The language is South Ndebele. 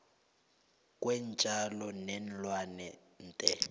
kweentjalo neenlwana the